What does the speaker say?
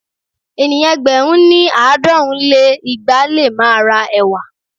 Ènìyàn ẹgbẹ̀rún ní- àádọ́rùn lé igba lé máa ra ẹ̀wà.